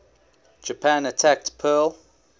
japan attacked pearl